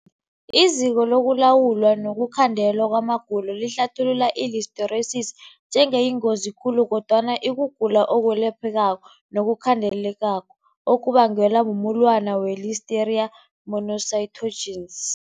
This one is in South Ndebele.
IZiko lokuLawulwa nokuKhandelwa kwamaGulo lihlathulula i-Listeriosis njengeyingozi khulu kodwana ikugula okwelaphekako nokukhandelekako okubangelwa mumulwana we-Listeria monocytogenes.